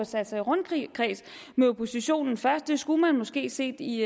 sat sig i rundkreds med oppositionen først det skulle man måske set i